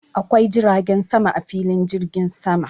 Akwai jiragen sama a filin jirgin sama.